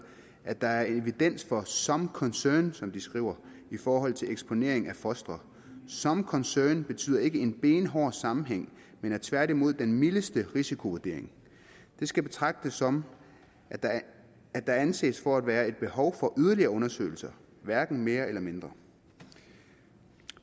at der er evidens for some concern som de skriver i forhold til eksponering af fostre some concern betyder ikke en benhård sammenhæng men er tværtimod den mildeste risikovurdering det skal betragtes som at der anses for at være et behov for yderligere undersøgelser hverken mere eller mindre det